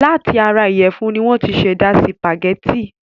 Láti ara ìyẹ̀fún ni wọ́n ti ṣẹ̀dá sìpàgẹ́tì.